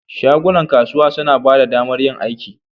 Shagunan kasuwa suna ba da damar yin aiki.